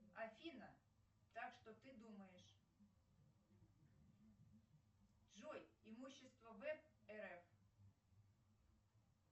афина так что ты думаешь джой имущество в рф